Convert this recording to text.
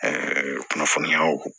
kunnafoniyaw